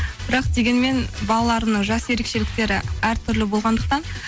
бірақ дегенмен балаларымның жас ерекшеліктері әртүрлі болғандықтан